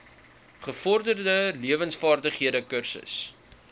gevorderde lewensvaardighede kursus